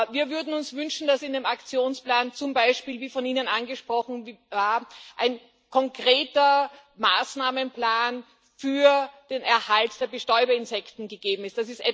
Wir würden uns wünschen, dass in dem Aktionsplan zum Beispiel wie von Ihnen angesprochenen war ein konkreter Maßnahmenplan für den Erhalt der Bestäuberinsekten gegeben ist.